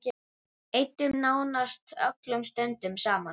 Eyddum nánast öllum stundum saman.